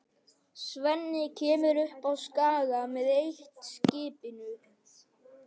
Svenni kemur upp á Skaga með eitt-skipinu.